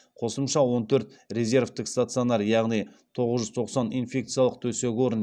қосымша он төрт резервтік стационар яғни тоғыз жүз тоқсан инфекциялық төсек орын